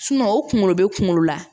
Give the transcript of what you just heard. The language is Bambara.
o kunkolo be kunkolo la